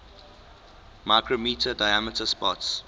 micrometre diameter spots